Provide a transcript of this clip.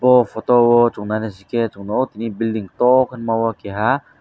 aw photo o chung nai nai se ke chung building toh ke nogo keha.